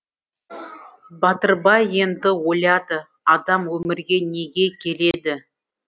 батырбай енді ойлады адам өмірге неге келеді